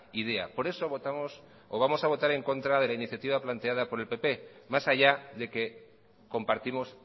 idea por eso vamos a votar de la iniciativa planteada por el pp más allá de que compartimos